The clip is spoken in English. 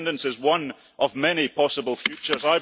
Independence is one of many possible futures.